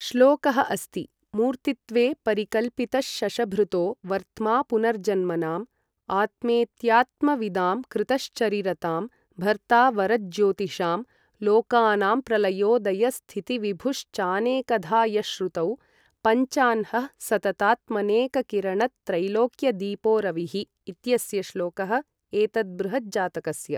श्लोकः अस्ति मूर्तित्वे परिकल्पितश्शशभृतो वर्त्मा पुनर्जन्मनाम् आत्मेत्यात्मविदां कृतश्चरिरतां भर्तावरज्योतिषां लोकानां प्रलयोदयस्थितिविभुश्चानेकधा यः श्रुतौ पञ्चाह्नः सततात्मनेककिरणत्रैलोक्यदीपो रविः इत्यस्य श्लोकः एतत् बृहज्जातकस्य